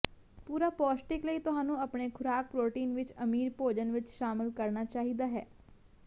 ਪੂਰਾ ਪੌਸ਼ਟਿਕ ਲਈ ਤੁਹਾਨੂੰ ਆਪਣੇ ਖੁਰਾਕ ਪ੍ਰੋਟੀਨ ਵਿੱਚ ਅਮੀਰ ਭੋਜਨ ਵਿੱਚ ਸ਼ਾਮਿਲ ਕਰਨਾ ਚਾਹੀਦਾ ਹੈ